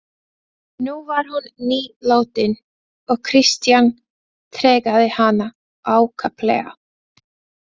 Nú var hún nýlátin og Christian tregaði hana ákaflega.